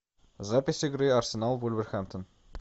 запись игры арсенал вулверхэмптон